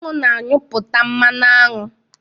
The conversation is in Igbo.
Anwụ na anyuputa mmanụ aṅụ